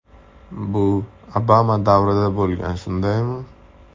Bu Obama davrida bo‘lgan, shundaymi?